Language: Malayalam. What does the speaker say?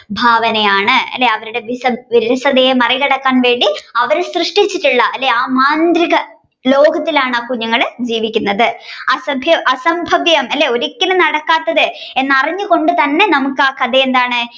ഭാവനയാണ് അല്ലെ അവരുടെ വിരസതയെ മറികടക്കാൻ വേണ്ടി അവർ സൃഷ്ടിച്ചട്ടുള്ള ആ മാന്ത്രിക ലോകത്തിലാണ് ആ കുഞ്ഞുങ്ങൾ ജീവിക്കുന്നത് അസ്ബയം~അസംഭവ്യം ഒരിക്കലും നടക്കാത്തത് എന്ന് അറിഞ്ഞുകൊണ്ട് തന്നെ നമുക്ക് ആ കഥ എന്താണ്